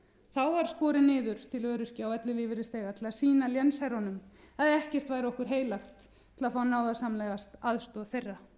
þá var skorið niður til öryrkja og ellilífeyrisþega til að sýna lénsherrunum að ekkert væri okkur heilagt til að fá náðarsamlegast aðstoð þeirra það getur verið að